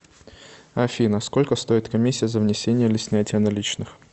афина сколько стоит комиссия за внесение или снятие наличных